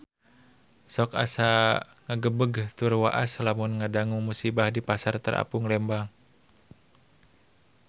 Sok asa ngagebeg tur waas lamun ngadangu musibah di Pasar Terapung Lembang